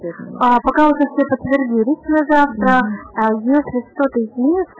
покажи мне последние пятьсот